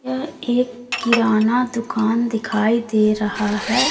यह एक किराना दुकान दिखाई दे रहा है।